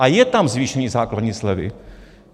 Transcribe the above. A je tam zvýšení základní slevy.